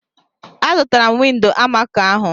Azụtara m windo almaco ahụ.